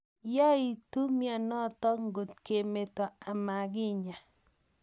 Yaitu mianotok ngotkemeto amakinyaa.